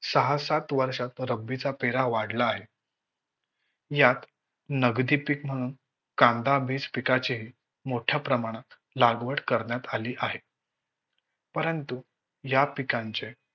सहा सात वर्षात रबीचा फेरा वाढला आहे. यात नगदी पीक म्हणून कांदाबीज पिकाचे मोठ्या प्रमाणात लागवड करण्यात आली आहे. परंतु या पिकांचे